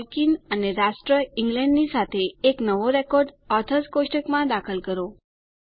Tolkien અને રાષ્ટ્ર Englandની સાથે એક નવો રેકોર્ડ ઓથર્સ કોષ્ટકમાં દાખલ કરો